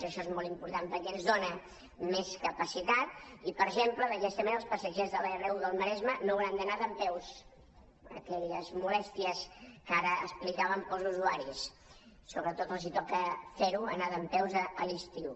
això és molt important perquè ens dona més capacitat i per exemple d’aquesta manera els passatgers de l’r1 del maresme no hauran d’anar dempeus aquelles molèsties que ara explicàvem per als usuaris sobretot els toca fer ho anar dempeus a l’estiu